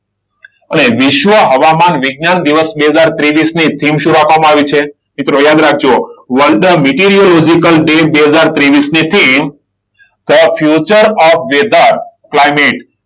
અને વિશ્વ હવામાન વિજ્ઞાન દિવસ બે હજાર ત્રેવીસ ને થીમ શું રાખવામાં આવી છે? મિત્રો યાદ રાખજો. વર્લ્ડ મિટીરિયો લોજિકલ ડે બે હજાર ત્રેવીસની થીમ the future of the weather climate